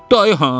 Dayı ha?